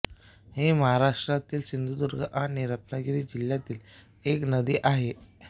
ही महाराष्ट्रातील सिंधुदुर्ग आणि रत्नागिरी जिल्ह्यातील एक नदी आहे